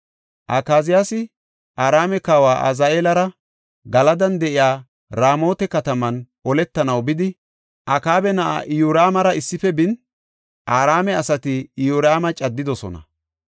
Akaziyaasi Araame kawa Azaheelara Galadan de7iya Raamota kataman oletanaw bidi, Akaaba na7aa Iyoraamara issife bin, Araame asati Iyoraama caddidosona.